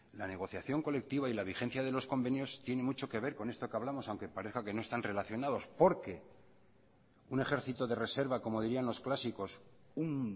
la negociación colectiva y la vigencia de los convenios tiene mucho que ver con esto que hablamos aunque parezca que no están relacionados porque un ejército de reserva como dirían los clásicos un